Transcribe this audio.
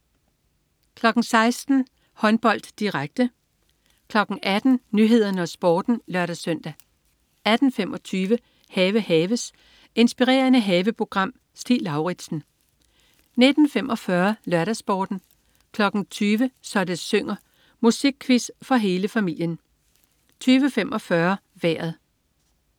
16.00 Håndbold, direkte 18.00 Nyhederne og Sporten (lør-søn) 18.25 Have haves. Inspirerende haveprogram. Stig Lauritsen 19.45 LørdagsSporten 20.00 Så det synger. Musikquiz for hele familien 20.45 Vejret